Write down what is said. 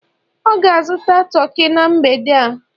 ọ ga-azụta toki na mgbede a